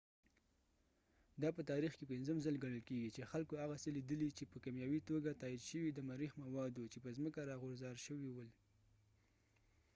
دا په تاریخ کې پنځم ځل ګڼل کيږي چې خلکو هغه څه لیدلي چې په کیمیاوي توګه تایید شوي د مریخ مواد وو چې په ځمکه راغوځار شوي ول